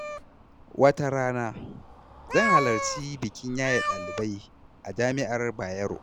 Wata rana, zan halarci bikin yaye dalibai a jami’ar Bayero.